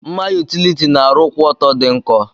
Mma utiliti na arụ kwụọtọ di nkọ.